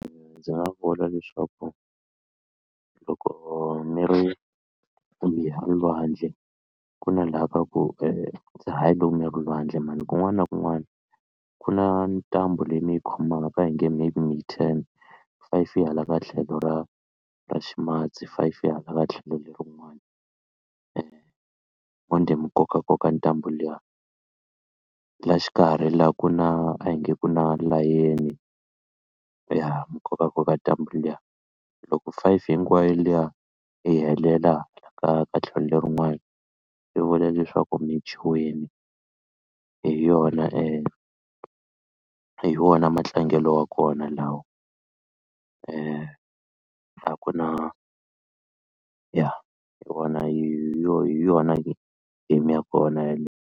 Ndzi nga vula leswaku loko mi ri ku mi ya lwandle ku na laha ka ku hayi loko mi ya lwandle man kun'wana na kun'wana ku na ntambu leyi mi yi khomaka a hi nge maybe mi yi ten five yi hala ka tlhelo ra ra ximatsi five yi hala ka tlhelo lerin'wani manjhe mi kokakoka ntambu liya la xikarhi la ku na a hi nge ku na layeni ya mi kokaka ka ntambu liya loko five hinkwayo liya yi helela ka ka tlhelo lerin'wana swi vula leswaku mi dyiwini hi yona hi wona matlangelo wa kona laha a ku na ya hi wona hi yo hi yona game ya kona .